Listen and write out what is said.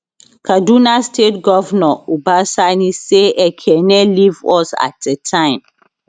kaduna state govnor uba sani say ekene leave us at a time